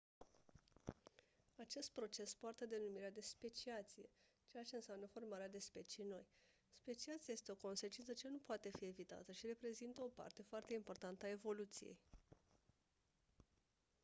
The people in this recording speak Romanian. acest proces poartă denumirea de speciație, ceea ce înseamnă formarea de specii noi. speciația este o consecință ce nu poate fi evitată și reprezintă o parte foarte importantă a evoluției